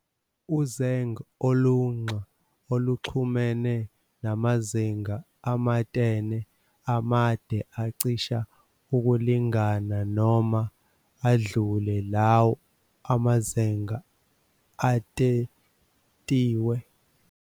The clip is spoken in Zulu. Uzeng' olunxa oluxhumene namazeng' amatene, amade acish' ukulingana noma adlule law' amazeng' atetiwe.